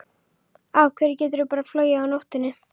Af hverju geturðu bara flogið á nóttunni?